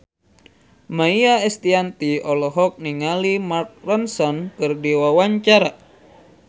Maia Estianty olohok ningali Mark Ronson keur diwawancara